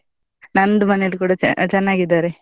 ನಂದು ಮನೇಲಿ ಕೂಡ ಚ~ ಚನ್ನಾಗಿದ್ದಾರೆ.